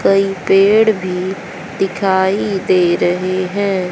कई पेड़ भी दिखाई दे रहे हैं।